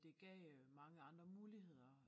Det gav øh mange andre muligheder